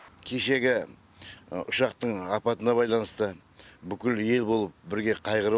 кешегі ұшақтың апатына байланысты бүкіл ел болып бірге қайғырып